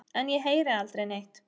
En ég heyri aldrei neitt.